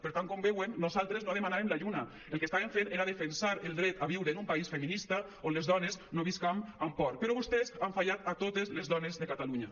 per tant com veuen nosaltres no demanàvem la lluna el que estàvem fent era defensar el dret a viure en un país feminista on les dones no visquem amb por però vostès han fallat a totes les dones de catalunya